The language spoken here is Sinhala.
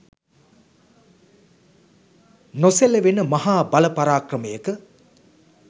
නොසෙලවෙන මහා බල පරාක්‍රමයක